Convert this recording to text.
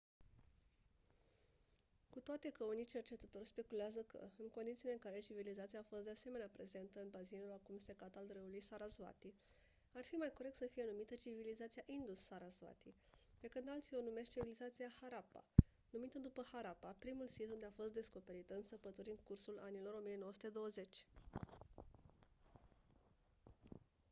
cu toate că unii cercetători speculează că în condițiile în care civilizația a fost de asemenea prezentă în bazinul acum secat al râului sarasvati ar fi mai corect să fie numită civilizația indus-sarasvati pe când alții o numesc civilizația harappa numită după harappa primul sit unde a fost descoperită în săpături în cursul anilor 1920